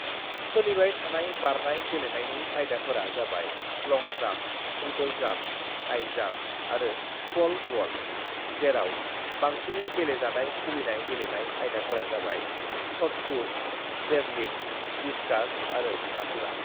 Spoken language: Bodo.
"सोलिबाय थानाय बारनाय गेलेनायनि आयदाफोरा जाबाय long jump, triple jump, high jump आरो पल वल्ट, जेराव बांसिनै गेलेजानाय खुबैनाय गेलेनाय आयदाफोरा जाबाय सतपुत, जेवलिन, डिस्जास आरो हाथुरा।"